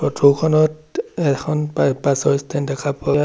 photo খনত এখন পাই বাছ ৰ ষ্টেণ্ড দেখা পৰাত